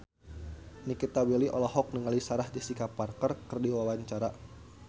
Nikita Willy olohok ningali Sarah Jessica Parker keur diwawancara